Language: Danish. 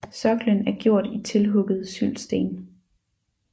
Sokkelen er gjort i tilhuggede syldsten